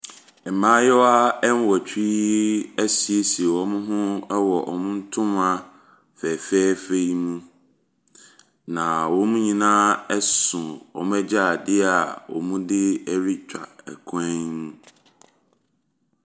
Mmayewa nnwɔtwe asiesie wɔn ho wɔ wɔn ntoma fɛɛfɛɛ yi mu. Na wɔn nyinaa so wɔn adwaredeɛ a wɔde retware kwan mu.